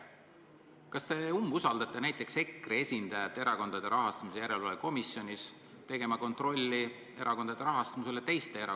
Kas te umbusaldate näiteks EKRE esindajat Erakondade Rahastamise Järelevalve Komisjonis, kui ta kontrollib teiste erakondade rahastamist?